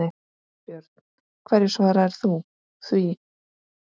Björn: Hverju svarar þú því?